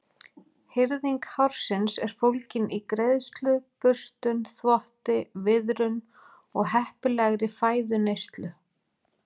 Hirðing hársins er fólgin í greiðslu, burstun, þvotti, viðrun og heppilegri fæðuneyslu.